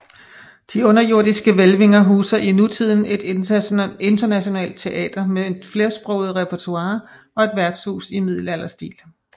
De underjordiske hvælvinger huser i nutiden et internationalt teater med et flersproget repertoire og et værtshus i middelalderstil